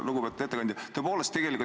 Lugupeetud ettekandja!